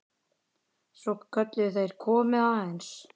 Svo kölluðu þeir: Komiði aðeins!